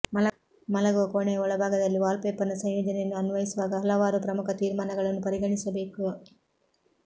ಮಲಗುವ ಕೋಣೆಯ ಒಳಭಾಗದಲ್ಲಿ ವಾಲ್ಪೇಪರ್ನ ಸಂಯೋಜನೆಯನ್ನು ಅನ್ವಯಿಸುವಾಗ ಹಲವಾರು ಪ್ರಮುಖ ತೀರ್ಮಾನಗಳನ್ನು ಪರಿಗಣಿಸಬೇಕು